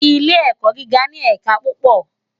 Ilé èkò gigá ni ẹká púpò